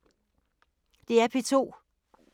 DR P2